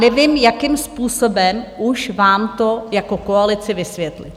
Nevím, jakým způsobem už vám to jako koalici vysvětlit!